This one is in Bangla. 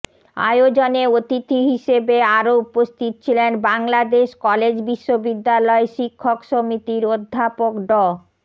আয়োজনে অতিথি হিসেবে আরও উপস্থিত ছিলেন বাংলাদেশ কলেজ বিশ্ববিদ্যালয় শিক্ষক সমিতির অধ্যাপক ড